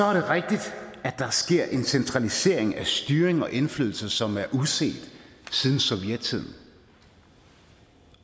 er rigtigt at der sker en centralisering af styring og indflydelse som er uset siden sovjettiden